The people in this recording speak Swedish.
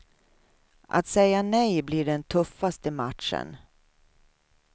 Att säga nej blir den tuffaste matchen.